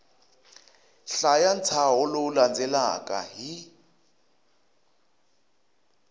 hlaya ntshaho lowu landzelaka hi